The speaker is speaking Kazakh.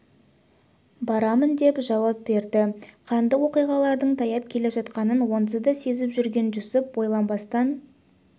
барамын деп жауап берді қанды оқиғалардың таяп келе жатқанын онсыз да сезіп жүрген жүсіп ойланбастан